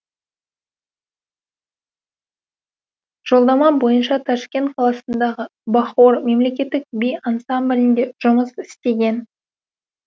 жолдама бойынша ташкент қаласындағы бахор мемлекеттік би ансамблінде жұмыс істеген